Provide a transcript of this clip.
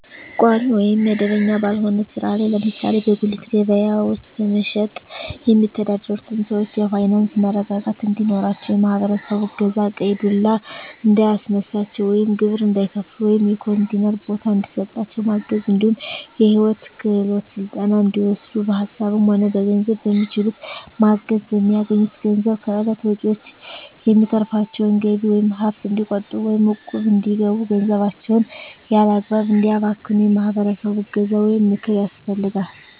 ቋሚ ወይም መደበኛ ባልሆነ ስራ ላይ ለምሳሌ በጉሌት ከበያ ውስጥ በመሸትጥ የሚተዳደሩትን ሰዎች የፋይናንስ መረጋጋት እንዲኖራቸው የማህበረሰቡ እገዛ ቀይ ዱላ እንዳያስነሳቸው ወይም ግብር እንዳይከፍሉ ወይም የኮንቲነር ቦታ እንዲሰጣቸው ማገዝ እንዲሁም የሂወት ክሄሎት ስልጠና እንዲወስዱ በሀሳብም ሆነ በገንዘብ በሚችሉት ማገዝ፣ በሚያገኙት ገንዘብ ከእለት ወጭዎች የሚተርፋቸውን ገቢ ወይም ሀብት እንዲቆጥቡ ወይም እቁብ እንዲገቡ ገንዘባቸውን ያላግባብ እንዳያባክኑ የማህበረሰቡ እገዛ ወይም ምክር ያስፈልጋል።